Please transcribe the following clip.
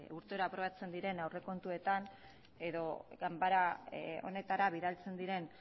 urtero aprobatzen diren aurrekontuetan edo ganbara honetara bidaltzen diren